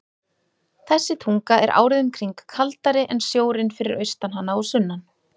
Þessi tunga er árið um kring kaldari en sjórinn fyrir austan hana og sunnan.